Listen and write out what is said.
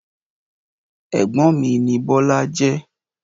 Ẹ̀gbọ́n mi ni Bọ́lá jẹ́.